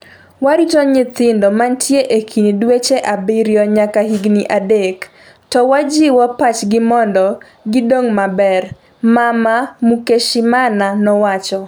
Warito nyithindo mantie e kind dweche abiriyo nyaka higni adek, to wajiwo pach gi mondo gidong maber, mama Mukeshimana nowacho